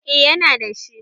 Eh yana da shi